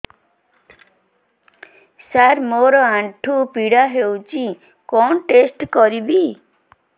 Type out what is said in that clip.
ସାର ମୋର ଆଣ୍ଠୁ ପୀଡା ହଉଚି କଣ ଟେଷ୍ଟ କରିବି